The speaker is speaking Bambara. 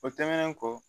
O tɛmɛnen kɔ